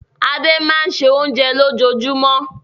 Adé máa ń se oúnjẹ lójoojúmọ́.